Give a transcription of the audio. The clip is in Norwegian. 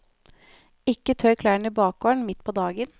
Ikke tørk klærne i bakgården midt på dagen.